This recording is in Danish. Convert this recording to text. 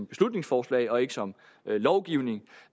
beslutningsforslag og ikke som